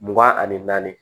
Mugan ani naani